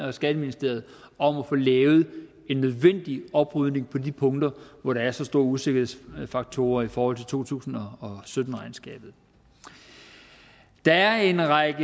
og skatteministeriet om at få lavet en nødvendig oprydning på de punkter hvor der er så store usikkerhedsfaktorer i forhold til to tusind og sytten regnskabet der er en række